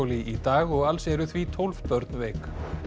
í dag og alls eru því tólf börn veik